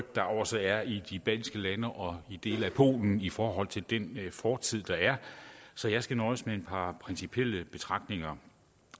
der også er i de baltiske lande og i dele af polen i forhold til den fortid der er så jeg skal nøjes med et par principielle betragtninger